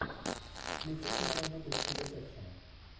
включи киноработу в стиле экшена